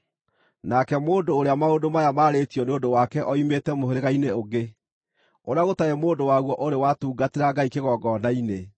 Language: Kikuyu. Nake mũndũ ũrĩa maũndũ maya maarĩtio nĩ ũndũ wake oimĩte mũhĩrĩga-inĩ ũngĩ, ũrĩa gũtarĩ mũndũ waguo ũrĩ watungatĩra Ngai kĩgongona-inĩ.